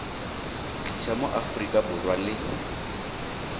tlisa mo aforika borwa le